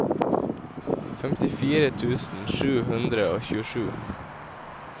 femtifire tusen sju hundre og tjuesju